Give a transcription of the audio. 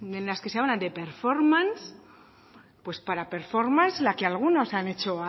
en las que se habla de performance pues para performance la que algunos han hecho